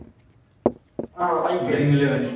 ও IPL